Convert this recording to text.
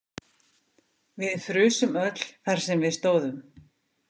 Við frusum öll þar sem við stóðum.